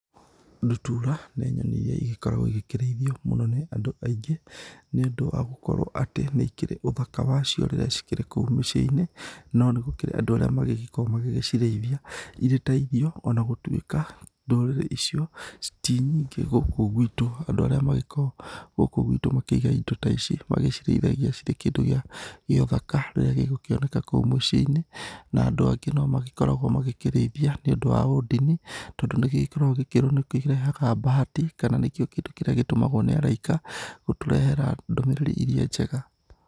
Ndutura, nĩ nyoni iria igĩkoragwo ikĩrĩithio mũno nĩ andũ aingĩ nĩ ũndũ wa gũkorwo atĩ nĩ ikĩrĩ ũthaka wacio rĩrĩa ikĩrĩ kũu mĩciĩ-inĩ, no nĩ gũkĩrĩ na andũ arĩa magĩgĩko magĩgĩcirĩithia irĩ ta irio, ona gũtuĩka ndũrĩrĩ icio ti nyingĩ gũkũ gwitu, andũ arĩa magĩkoragwo gũkũ gwitũ makĩigaga indo ta ici, magĩcirĩithathagia cirĩ kindũ gĩa ũthaka rĩrĩa gĩgũkioneka kũu mũciĩ-inĩ. Na andũ angĩ nĩ magĩkoragwo magĩkĩrĩithia nĩũndũ wa ũdini tondũ nĩ igĩkoragwo gĩkirwo nĩgĩkĩrehaga bahati kana nĩkĩo kĩndũ kĩrĩa gĩtũmagwo nĩ araika gũtũrehera ndũmĩrĩri iria njega.